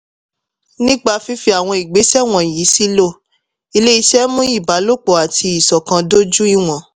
nípa fífi àwọn ìgbésẹ̀ wọ̀nyí sílò ilé-iṣẹ́ mú ìbálòpọ̀ àti ìṣọ̀kan dojú iwọn.